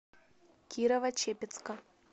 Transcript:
кирово чепецка